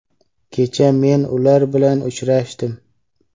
Kecha men ular bilan uchrashdim.